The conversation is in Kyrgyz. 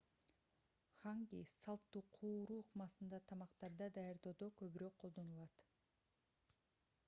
ханги салттуу кууруу ыкмасындагы тамактарды даярдоодо көбүрөөк колдонулат